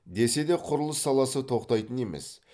десе де құрылыс саласы тоқтайтын емес